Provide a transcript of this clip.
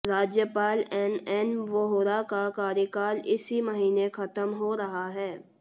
राज्यपाल एनएन वोहरा का कार्यकाल इसी महीने खत्म हो रहा है